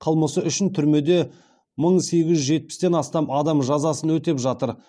қылмысы үшін түрмеде мың сегіз жүз жетпістен астам адам жазасын өтеп жатыр